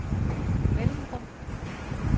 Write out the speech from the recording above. mellemrum